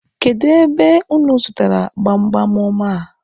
Kedụ ebe unu zụtara gbamgbam ọma a?